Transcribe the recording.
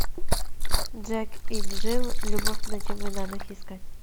джек и джилл любовь на чемоданах искать